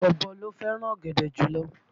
Ọ̀bọ ló fẹ́ràn ọ̀gẹ̀dẹ̀ jùlọ